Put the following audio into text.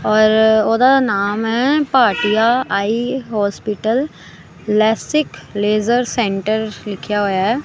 ਔਰ ਉਹਦਾ ਨਾਮ ਹੈ Bhatia eye hospital LASIK laser centre ਲਿਖਿਆ ਹੋਇਆ ਹੈ।